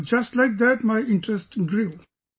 So just like that my interest grew